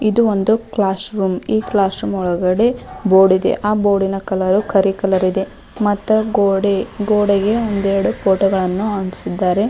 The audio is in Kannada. ಇದು ಒಂದು ಕ್ಲಾಸ್ ರೂಮ್ ಈ ಕ್ಲಾಸ್ ರೂಮ್ ಒಳಗಡೆ ಬೋರ್ಡ್ ಇದೆ ಆ ಬೋರ್ಡ್ ನ ಕಲರ್ ಕರಿ ಕಲರ್ ಇದೆ ಮತ್ತು ಗೋಡೆ ಗೋಡೆಗೆ ಒಂದೆರಡು ಫೊಟೊ ಗಳನ್ನು ಹಾಕಿಸಿದ್ದಾರೆ .